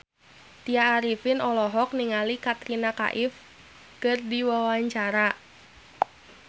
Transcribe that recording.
Tya Arifin olohok ningali Katrina Kaif keur diwawancara